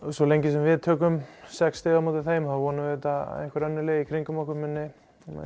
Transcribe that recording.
svo lengi sem við tökum sex stig á móti þeim vonum við að einhver önnur lið í kringum okkur muni